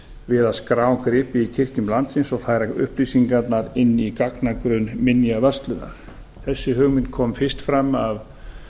við að skrá gripi í kirkjum landsins og færa upplýsingarnar inn í gagnagrunn m minjavörslunar þessi hugmynd kom fyrst fram minjaverðinum